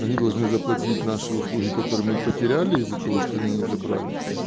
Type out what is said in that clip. они должны заплатить наши услуги которые мы потеряли из-за того что они не забрали